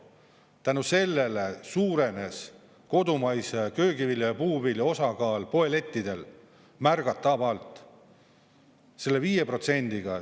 Tänu sellele suurenes kodumaise köögivilja ja puuvilja osakaal poelettidel märgatavalt, selle 5%-ga.